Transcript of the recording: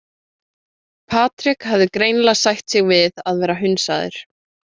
Patrik hafði greinilega sætt sig við að vera hunsaður.